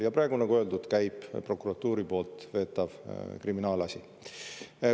Ja praegu, nagu öeldud, käib prokuratuuri poolt veetav kriminaalasi.